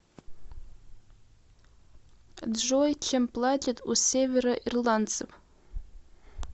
джой чем платят у североирландцев